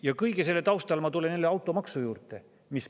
Ja kõige selle taustal ma tulen jälle automaksu juurde.